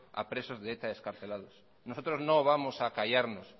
a presos de eta excarcelados nosotros no vamos a callarnos